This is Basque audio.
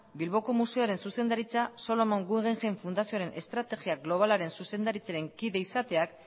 bilboko museoaren zuzendaritza salomon guggenheim fundazioaren estrategia globalaren zuzendaritzaren kide izateak